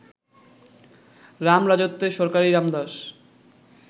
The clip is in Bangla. রামরাজত্বে সরকারি রামদাস